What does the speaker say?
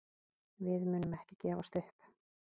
Við munum ekki gefast upp.